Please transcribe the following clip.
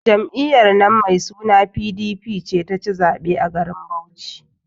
Jam'iyyar nan mai suna PDP ce ta ci zaɓe a garin Bauchi.